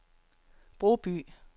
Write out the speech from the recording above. Broby